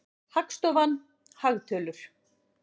Hagstofan- hagtölur.